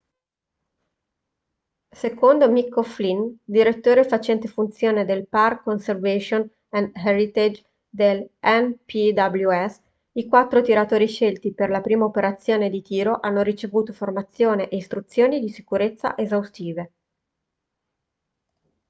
secondo mick o'flynn direttore facente funzione del park conservation and heritage del npws i quattro tiratori scelti per la prima operazione di tiro hanno ricevuto formazione e istruzioni di sicurezza esaustive